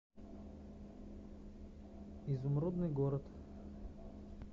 изумрудный город